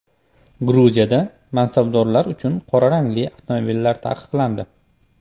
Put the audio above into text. Gruziyada mansabdorlar uchun qora rangli avtomobillar taqiqlandi.